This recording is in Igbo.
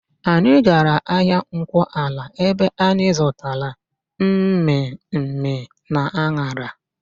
Anyị gara ahịa Nkwọala ebe anyị zụtara mmịmmị na an̄ara.